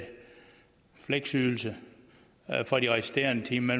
fleksydelse for de resterende timer